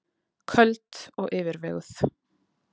Köld og yfirveguð.